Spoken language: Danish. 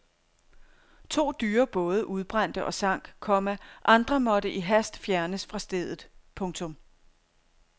To dyre både udbrændte og sank, komma andre måtte i hast fjernes fra stedet. punktum